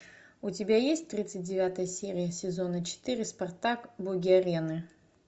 у тебя есть тридцать девятая серия сезона четыре спартак боги арены